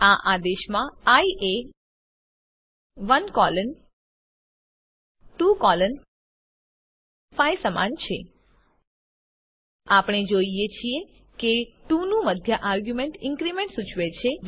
આ આદેશમાં આઇ એ 1 કોલોન 2 કોલોન 5 સમાન છે આપણે જોઈએ છીએ કે 2 નું મધ્ય આર્ગ્યુંમેન્ટ ઇન્ક્રીમેન્ટ સૂચવે છે